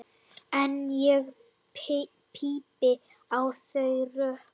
En ég pípi á þau rök.